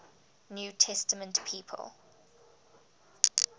new testament people